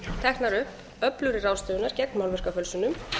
teknar upp öflugri ráðstafanir gegn málverkafölsunum